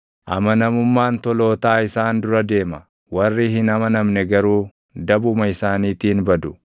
Amanamummaan tolootaa isaan dura deema; warri hin amanamne garuu dabuma isaaniitiin badu.